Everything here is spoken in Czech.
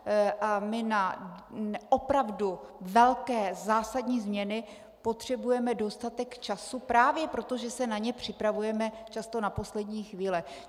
A my na opravdu velké zásadní změny potřebujeme dostatek času právě proto, že se na ně připravujeme často na poslední chvíli.